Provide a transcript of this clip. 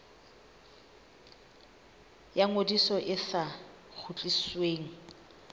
ya ngodiso e sa kgutlisweng